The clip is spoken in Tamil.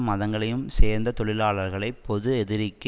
மதங்களையும் சேர்ந்த தொழிலாளர்களை பொது எதிரிக்கு